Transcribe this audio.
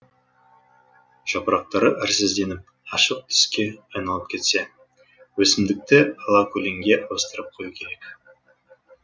жапырақтары әрсізденіп ашық түске айналып кетсе өсімдікті алакөлеңге ауыстырып қою керек